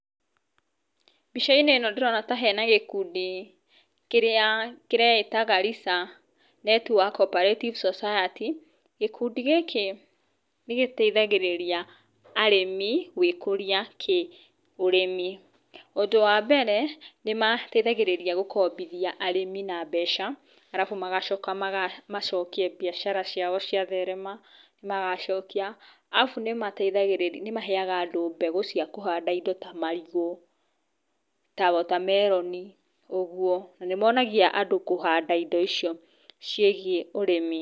Mbica-inĩ ĩno ndĩrona ta hena gĩkundi kĩreĩta Garrisa Network Operative Society. Gĩkundi gĩkĩ nĩ gĩteithagĩrĩria arĩmi gwĩ kũria kĩ ũrĩmi, ũndũ wa mbere nĩ mateithagĩrĩria gũkombithia arĩmi na mbeca alafu magacoka macokie biacara ciao cia therema, magacokia, alafu nĩ mateithagĩrĩria, nĩ maheaga andũ mbegũ cia kũhanda indo ta marigũ, ta water melon na nĩ mateithagia kũhanda indo ta icio ciĩgie ũrĩmi.